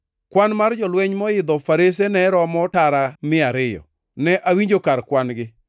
Kwan mar jolweny moidho farese ne oromo tara mia ariyo. Ne awinjo kar kwan-gi.